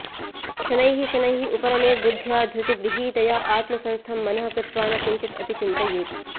शनैः शनैः उपरमेत् बुद्ध्या धृतिगृहीतया आत्मसंस्थं मनः कृत्वा न किञ्चित् अपि चिन्तयेत्